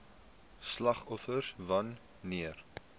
slagoffers wan neer